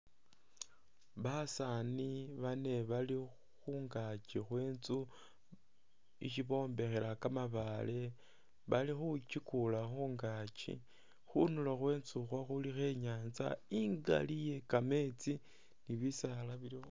Basani bane bali khungakyi khwe intsu isi bombekhela ka mabaale, bali khukyikula khungakyi khundulo khwe intsu ukhwo khulikho inyanza ingali iye kametsi ni bisaala bili...